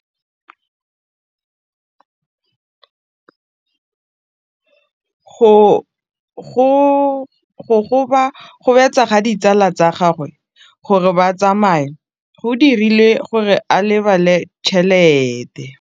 Go gobagobetsa ga ditsala tsa gagwe, gore ba tsamaye go dirile gore a lebale tšhelete.